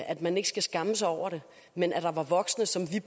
at man ikke skal skamme sig over det men at der var voksne som vi